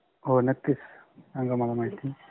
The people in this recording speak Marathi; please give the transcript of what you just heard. हो नक्किच. सांगा मला महिती.